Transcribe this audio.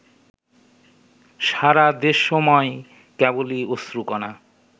সারাদেশময় কেবলি অশ্রুকণা